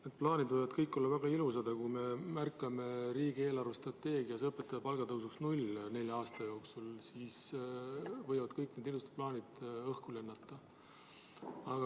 Need plaanid võivad kõik olla väga ilusad, aga kui me märkame riigi järgmise nelja aasta eelarvestrateegias õpetajate palga tõusu real nulli, siis võivad kõik need ilusad plaanid õhku lennata.